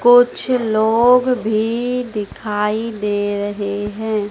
कुछ लोग भी दिखाई दे रहे है।